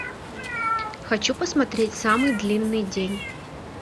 хочу посмотреть самый длинный день